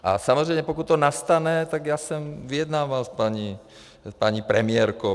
A samozřejmě pokud to nastane, tak já jsem vyjednával s paní premiérkou.